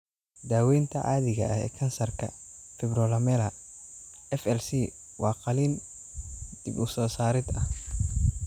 Daaweynta caadiga ah ee kansarka fibrolamellar (FLC) waa qalliin dib-u-soo-saarid ah.